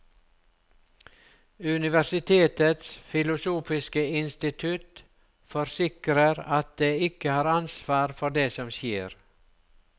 Universitetets filosofiske institutt forsikrer at det ikke har ansvar for det som skjer.